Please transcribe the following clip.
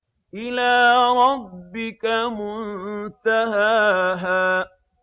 إِلَىٰ رَبِّكَ مُنتَهَاهَا